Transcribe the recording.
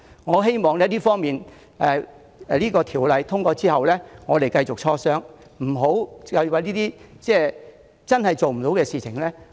我希望在《條例草案》通過後，我們繼續磋商，而不要糾纏於不可行的事情。